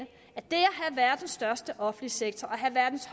have verdens største offentlige sektor og at have verdens